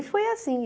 E foi assim.